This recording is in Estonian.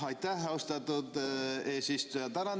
Aitäh, austatud eesistuja!